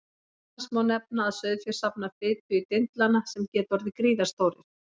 Meðal annars má nefna að sauðfé safnar fitu í dindlana sem geta orðið gríðarstórir.